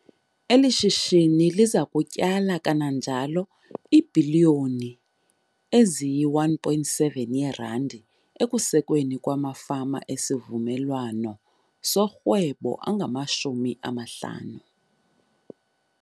Eli shishini liza kutyala kananjalo iibhiliyoni ezi yi-R1.7 ekusekweni kwamafama esivumelwawano sorhwebo angama-50.